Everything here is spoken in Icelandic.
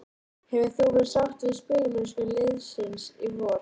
Hefur þú verið sáttur við spilamennskuna liðsins í vor?